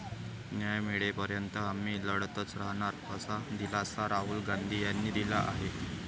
न्याय मिळेपर्यंत आम्ही लढतच राहणार असा दिलासा राहुल गांधी यांनी दिला आहे.